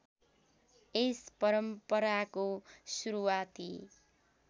यस परम्पराको सुरुवाती